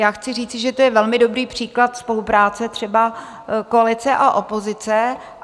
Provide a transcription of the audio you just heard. Já chci říci, že to je velmi dobrý příklad spolupráce třeba koalice a opozice.